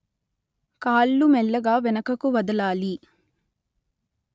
కాళ్ళు మెల్లగా వెనుకకు వదలాలి